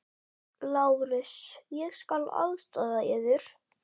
LÁRUS: Ég skal aðstoða yður.